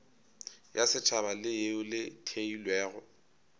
ya setšhaba leo le theilwego